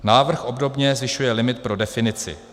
Návrh obdobně zvyšuje limit pro definici: